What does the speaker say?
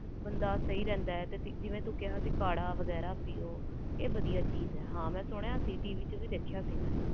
ਬੰਦਾ ਸਹੀ ਰਹਿੰਦਾ ਜਿਵੇ ਤੂੰ ਕਿਹਾ ਕੜਾ ਵਗੈਰਾ ਪੀ ਆਹ ਮੈਂ ਟੀ ਵੀ ਵਿਚ ਵੀ ਸੁਣਿਆ ਸੀ